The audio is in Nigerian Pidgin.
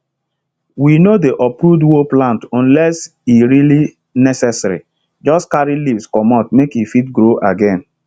we no dey uproot whole plant unless e really necessaryjust carry leaves comot make e fit grow again